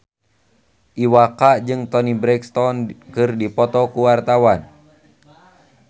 Iwa K jeung Toni Brexton keur dipoto ku wartawan